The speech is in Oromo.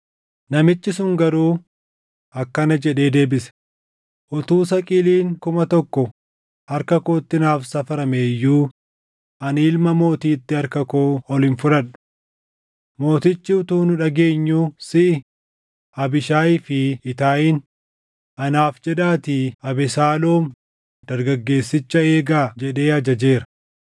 Namichi sun garuu, akkana jedhee deebise; “Utuu saqiliin kuma tokko harka kootti naaf safaramee iyyuu ani ilma mootiitti harka koo ol hin fudhadhu. Mootichi utuu nu dhageenyuu siʼi, Abiishaayii fi Itaayiin, ‘Anaaf jedhaatii Abesaaloom dargaggeessicha eegaa’ jedhee ajajeera.